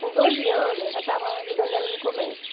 Com doze anos, eu já estava ajudando ela no comércio.